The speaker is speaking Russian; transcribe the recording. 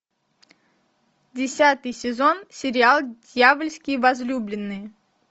десятый сезон сериал дьявольские возлюбленные